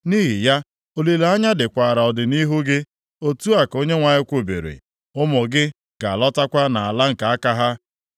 Nʼihi ya, olileanya dịkwara ọdịnʼihu gị.” Otu a ka Onyenwe anyị kwubiri. “Ụmụ gị ga-alọtakwa nʼala nke aka ha.